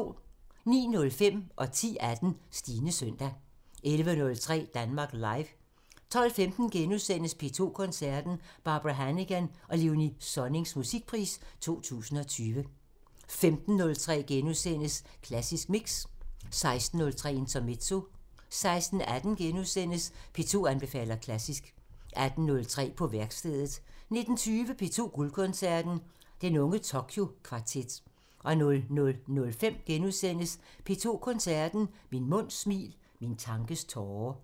09:05: Stines søndag 10:18: Stines søndag 11:03: Danmark Live 12:15: P2 Koncerten – Barbara Hannigan og Léonie Sonnings Musikpris 2020 * 15:03: Klassisk Mix * 16:03: Intermezzo 16:18: P2 anbefaler klassisk * 18:03: På værkstedet 19:20: P2 Guldkoncerten – Den unge Tokyo Kvartet 00:05: P2 Koncerten – Min munds smil – min tankes tåre *